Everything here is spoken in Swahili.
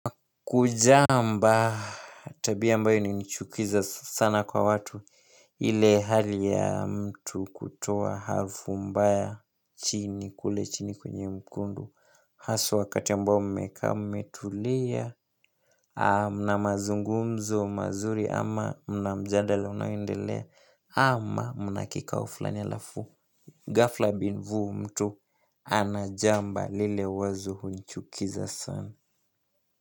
Kujamba tabia ambayo inanichukiza sana kwa watu. Ile hali ya mtu kutoa harufu mbaya chini kule chini kwenye mkundu. Hasa wakati ambao mmekaa mmetulia na mazungumzo mazuri ama mna mjadala unaoendelea ama mna kikao fulani halafu ghafla bin vuu mtu anajamba lile wazo hunichukiza sana.